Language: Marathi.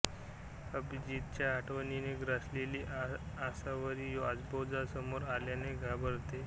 अभिजीतच्या आठवणींनी ग्रासलेली आसावरी आजोबा समोर आल्याने घाबरते